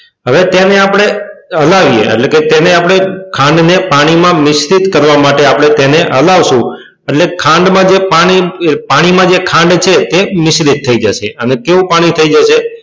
હવે તેને આપણે હલાવીએ એટલે કે તેને આપણે ખાંડને પાણીમાં મિશ્રિત કરીએ એટલા માટે તેને આપણે હલાવશું એટલે ખાંડમાં જે પાણી પાણીમાં જે ખાંડ છે તે મિશ્રિત થઈ જશે એટલે કેવું પાણી થઈ જશે?